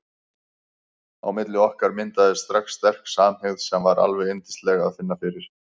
Á milli okkar myndaðist strax sterk samhygð sem var alveg yndislegt að finna fyrir.